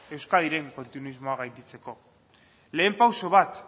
euskadiren kontinuismoa gainditzeko lehen pauso bat